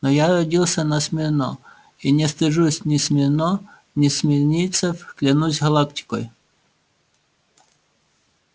но я родился на смирно и не стыжусь ни смирно ни смирнийцев клянусь галактикой